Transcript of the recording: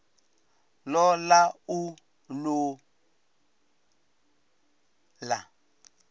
ṱo ḓa u ṱun ḓa